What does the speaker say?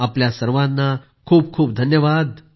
आपल्या सर्वांना खूप खूप धन्यवाद